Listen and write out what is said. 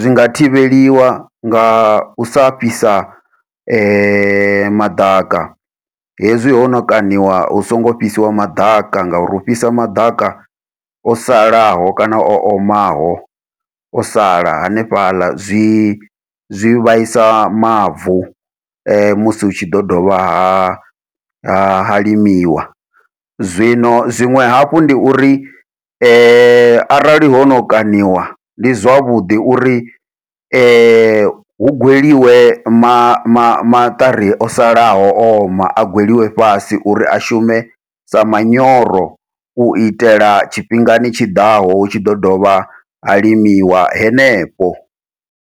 zwi nga thivheliwa ngau sa fhisa maḓaka, hezwi hono kaṋiwa hu songo fhisiwa maḓaka ngauri u fhisa maḓaka o salaho kana o omaho o sala hanefhaḽa zwi zwi vhaisa mavu, musi hu tshi ḓo dovha ha ha ha limiwa. Zwino zwiṅwe hafhu ndi uri arali hono kaṋiwa ndi zwavhuḓi uri hu gweliwe ma ma maṱari o salaho oma a gweliwe fhasi uri a shume sa manyoro, u itela tshifhingani tshiḓaho hu tshi ḓo dovha ha limiwa henefho.